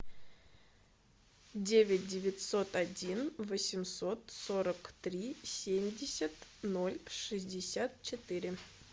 девять девятьсот один восемьсот сорок три семьдесят ноль шестьдесят четыре